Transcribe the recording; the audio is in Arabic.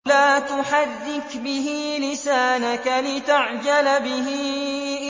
لَا تُحَرِّكْ بِهِ لِسَانَكَ لِتَعْجَلَ بِهِ